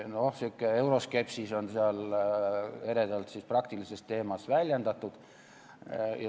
Niisugune euroskepsis on seal eredalt siis praktilises teemas väljendatud.